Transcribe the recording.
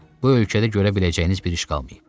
Bu ölkədə görə biləcəyiniz bir iş qalmayıb.